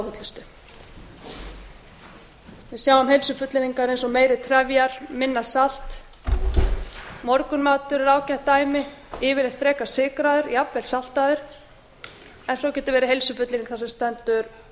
óhollustu við sjáum heilsufullyrðingar eins og meiri trefjar minna salt morgunmatur er ágætt dæmi yfirleitt frekar sykraður jafnvel saltaður en svo getur verið heilsufullyrðing þar sem stendur hundrað prósent meiri